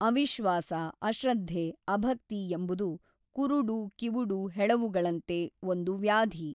ಅವಿಶ್ವಾಸ ಅಶ್ರದ್ಧೆ ಅಭಕ್ತಿ ಎಂಬುದು ಕುರುಡು ಕಿವುಡು ಹೆಳವುಗಳಂತೆ ಒಂದು ವ್ಯಾಧಿ.